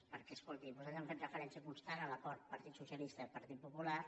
perquè escoltin nosaltres hem fet referència constant a l’acord partit socialista partit popular